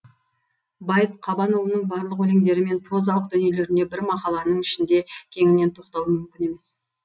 байыт қабанұлының барлық өлеңдері мен прозалық дүниелеріне бір мақаланың ішінде кеңінен тоқталу мүмкін емес